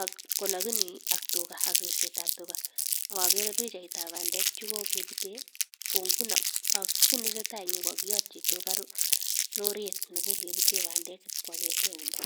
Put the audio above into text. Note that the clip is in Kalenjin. ak alakini ak ripsetab tuga ak ageere pichaitab bandek cheko kepute ko nguno kiit ne tesetai eng yu ko kakiyati tuga roret nekokipute bandek ipkoakete yundo.